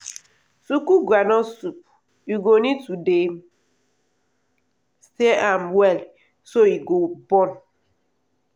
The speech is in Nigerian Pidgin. to cook groundnut soup u go need to dey stir am well so e go burn.